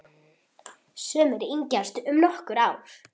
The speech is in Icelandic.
Sumir yngjast um nokkur ár.